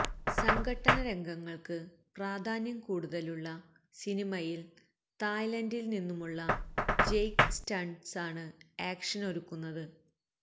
സംഘട്ടന രംഗങ്ങള്ക്ക് പ്രധാന്യം കൂടുതലുള്ള സിനിമയില് തായ്ലാന്ഡില് നിന്നുമുള്ള ജെയ്ക്ക് സ്റ്റണ്ട്സാണ് ആക്ഷനൊരുക്കുന്നത്